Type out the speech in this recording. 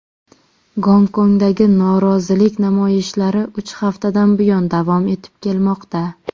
Gonkongdagi norozilik namoyishlari uch haftadan buyon davom etib kelmoqda.